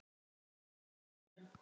Þín Eva María.